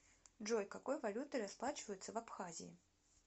джой какой валютой расплачиваются в абхазии